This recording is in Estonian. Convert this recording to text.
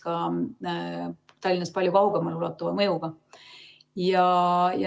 See oleks Tallinnast palju kaugemale ulatuva mõjuga.